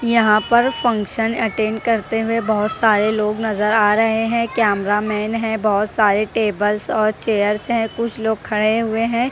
यहां पर function attend करते हुए बहोत सारे लोग नजर आ रहे हैं कैमरा मैन है बहोत सारे टेबल्स और चेयर्स हैं कुछ लोग खड़े हुए हैं।